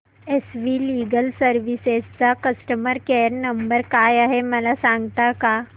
S V legal services चा customer care number काय आहे मला सांगता का